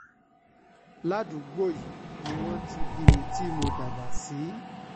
ládùúgbò yìí ni wọ́n ti bí mi tí mo dàgbà sí